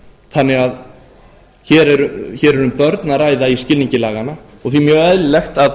þannig að hér er um börn að ræða í skilningi laganna og því mjög eðlilegt að